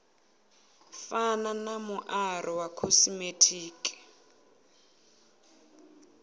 fana na muaro wa khosimetiki